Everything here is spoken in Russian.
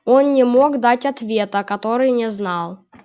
он не мог дать ответа который не знал